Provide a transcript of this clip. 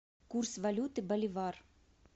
курс валюты боливар